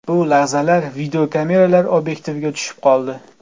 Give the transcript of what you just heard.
Bu lahzalar videokameralar obyektiviga tushib qoldi.